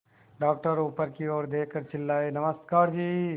doctor ऊपर की ओर देखकर चिल्लाए नमस्कार जी